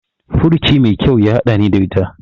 Furuci mai kyau ya haɗani ta ita.